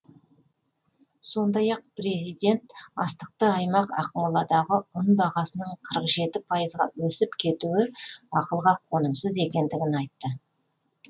сондай ақ президент астықты аймақ ақмоладағы ұн бағасының қырық жеті пайызға өсіп кетуі ақылға қонымсыз екендігін айтты